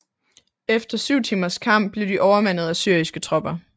Efter syv timers kamp blev de overmandet af syriske tropper